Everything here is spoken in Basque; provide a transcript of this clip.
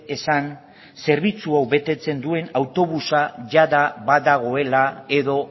esan zerbitzu hau betetzen duen autobusa jada badagoela edo